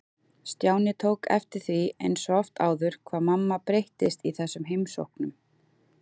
Stjáni tók eftir því eins og oft áður hvað mamma breyttist í þessum heimsóknum.